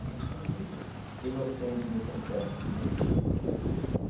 A gente era muito inocente nesse aspecto, né?